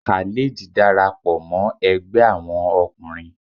Khalid darapọ mọ Ẹgbẹ Awọn ọkunrin